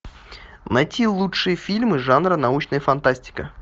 найти лучшие фильмы жанра научная фантастика